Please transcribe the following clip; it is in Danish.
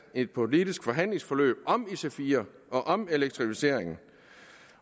et politisk forhandlingsforløb om ic4 og om elektrificeringen